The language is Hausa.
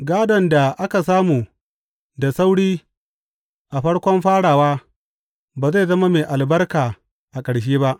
Gādon da aka samu da sauri a farkon farawa ba zai zama mai albarka a ƙarshe ba.